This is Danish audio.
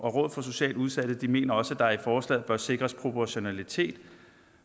for socialt udsatte mener også at der i forslaget bør sikres proportionalitet